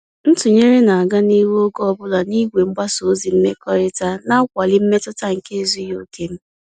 Ntụnyere na-aga n'ihu oge ọbula n'igwe mgbasa ozi mmekọrịta, na-akwali mmetụta nke ezughị oke m.